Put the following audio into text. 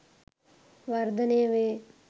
වර්ධනය වේ.